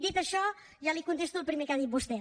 dit això ja li contesto al primer que ha dit vostè